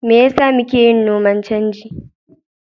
Me yasa muke yin noman canji?